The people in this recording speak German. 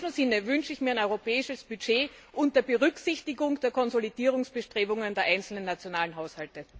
In diesem Sinne wünsche ich mir ein europäisches Budget unter Berücksichtigung der Konsolidierungsbestrebungen der einzelnen nationalen Haushalte.